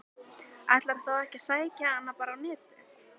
Ætlarðu þá ekki að sækja hana bara á Netið?